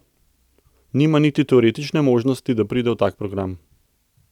Nima niti teoretične možnosti, da pride v tak program.